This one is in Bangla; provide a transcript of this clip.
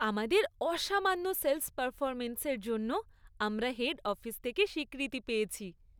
আমাদের অসামান্য সেল্‌স পারফরম্যান্সের জন্য আমরা হেড অফিস থেকে স্বীকৃতি পেয়েছি।